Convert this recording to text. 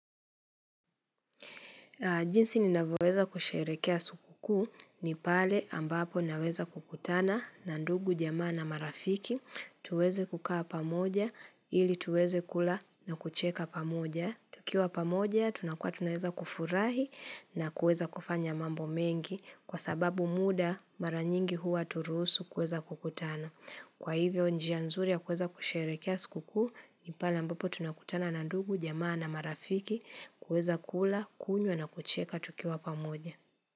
Jinsi ninavyoweza kusherekea sikukuu ni pale ambapo ninaweza kukutana na ndugu, jamaa na marafiki, tuweze kukaa pamoja ili tuweze kula na kucheka pamoja. Tukiwa pamoja, tunakua tunaweza kufurahi na kueza kufanya mambo mengi kwa sababu muda mara nyingi huwa hauturusu kueza kukutana. Kwa hivyo njia nzuri ya kuweza kusherekea sikukuu, nipale ambapo tunakutana na ndugu, jamaa na marafiki, kuweza kula, kunywa na kucheka tukiwa pamoja.